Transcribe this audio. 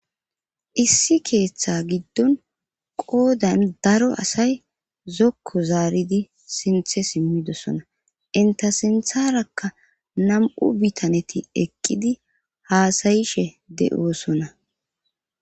Issi keeththa giddon qoodan daro asay zokku zaaridi sinthe simmidosona inta sintharakka nam7u bitaneti eqqidi haasayishe de7oosona